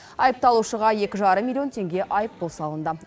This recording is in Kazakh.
айыпталушыға екі жарым миллион теңге айыппұл салынды